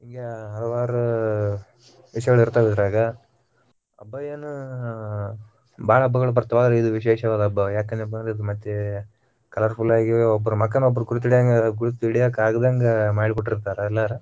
ಹಲವಾರ ವಿಷಯಗಳಿರ್ತಾವ ಇದ್ರಗ ಹಬ್ಬಯೇನ ಬಾಳ ಹಬ್ಬಗಳು ಬರ್ಥವ ಇದು ವಿಶೇಷವಾದ ಹಬ್ಬ ಯಾಕಂದ್ರ ಇದ ಮತ್ತೆ colourful ಆಗಿ ಒಬ್ಬರ ಮುಖ ಒಬ್ಬರ ಗುರುತಿ~ ಗುರುತಿಡ್ಯಾಕಾಗದಂದ ಮಾಡಿ ಬಿಟ್ಟಿರ್ತಾರ ಎಲ್ಲರೂ.